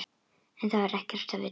En þær vita ekkert.